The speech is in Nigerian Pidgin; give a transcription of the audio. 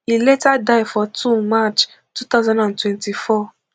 e later die for two march two thousand and twenty-four